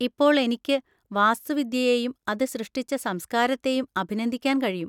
ഇപ്പോൾ എനിക്ക് വാസ്തുവിദ്യയെയും അത് സൃഷ്ടിച്ച സംസ്കാരത്തെയും അഭിനന്ദിക്കാൻ കഴിയും.